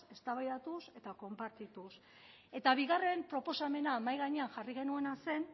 eztabaidatuz eta konpartituz eta bigarren proposamena mahai gainean jarri genuena zen